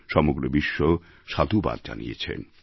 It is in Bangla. সমগ্র বিশ্ব সাধুবাদ জানিয়েছে